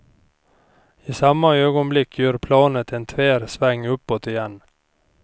I samma ögonblick gör planet en tvär sväng uppåt igen.